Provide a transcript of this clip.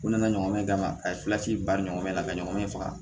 U nana ɲɔgɔn ye ka ma a ye bari ɲɔgɔn na a ka ɲɔgɔn faga